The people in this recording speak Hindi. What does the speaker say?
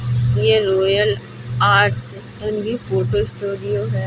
ये रॉयल आर्ट्स फोटो स्टूडियो है।